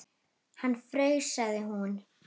Hann fraus, sagði hún.